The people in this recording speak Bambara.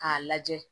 K'a lajɛ